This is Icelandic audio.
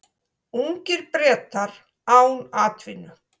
Ungir Bretar án atvinnu